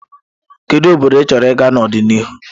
Kedu obodo ịchọrọ ịga n'ọdịnihu?